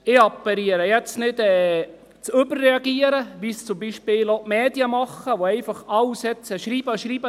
Ich appelliere, jetzt nicht zu überreagieren, wie es zum Beispiel auch die Medien machen, die schreiben und schreiben: